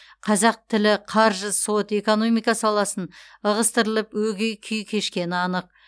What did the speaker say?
қазақ тілі қаржы сот экономика саласын ығыстырылып өгей күй кешкені анық